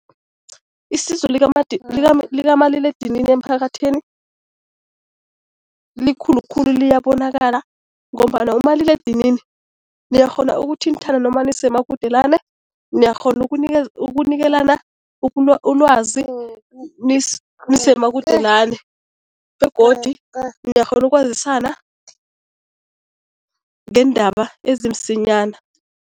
Isizo likamaliledinini emphakathini likhulu khulu, liyabonakala ngombana umaliledinini niyakghona ukuthinthana noma nisemakudelana, niyakghona ukunikelana ulwazi nisemakudelani begodi niyakghona ukwazisana ngeendaba ezimsinyana.